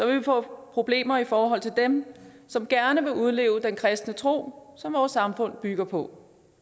vi få problemer i forhold til dem som gerne vil udleve den kristne tro som vores samfund bygger på